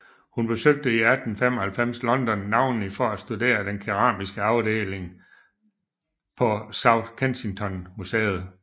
Hun besøgte 1895 London navnlig for at studere den keramiske afdeling på South Kensington Museum